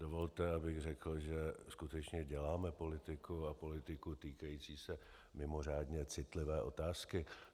Dovolte, abych řekl, že skutečně děláme politiku, a politiku týkající se mimořádně citlivé otázky.